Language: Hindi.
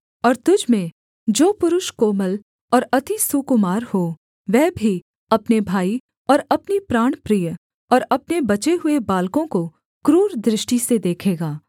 और तुझ में जो पुरुष कोमल और अति सुकुमार हो वह भी अपने भाई और अपनी प्राणप्रिय और अपने बचे हुए बालकों को क्रूर दृष्टि से देखेगा